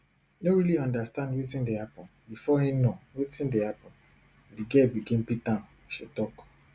no really understand wetin dey happun bifor im know wetin dey happun di girl begin beat am she tok